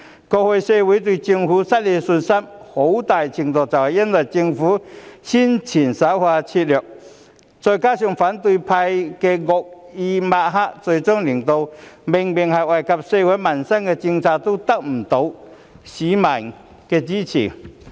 過去社會對政府失去信心，很大程度是因為政府的宣傳手法拙劣，再加上反對派的惡意抹黑，最終令到明明是惠及社會民生的政策，也得不到市民的支持。